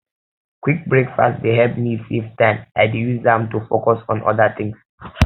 quick breakfast dey help me save time i dey use am to focus on other things